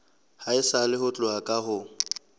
haesale ho tloha ka ho